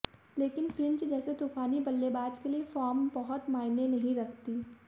लेकिन फिंच जैसे तूफानी बल्लेबाज के लिए फॉर्म बहुत मायने नहीं रखती